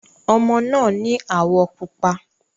Ọmọ náà ni áwọ̀ pupa.